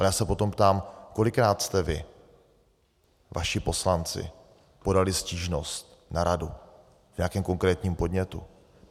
Ale já se potom ptám, kolikrát jste vy, vaši poslanci, podali stížnost na radu v nějakém konkrétním podnětu?